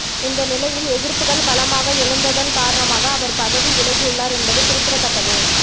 இந்தநிலையில் எதிர்ப்புகள் பலமாக எழுந்தததன் காரணமாக அவர் பதவி வியலகியுள்ளார் என்பது குறிப்பிடத்தக்கது